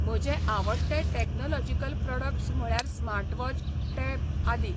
म्हजें आवडटें technological products म्हळ्यार स्मार्टवॉच, टॅब आदी.